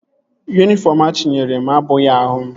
Yunifọm achinyere m abụghị ahụ m